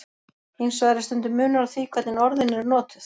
Hins vegar er stundum munur á því hvernig orðin eru notuð.